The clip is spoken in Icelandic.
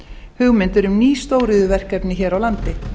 hugmyndir um ný stóriðjuverkefni hér á landi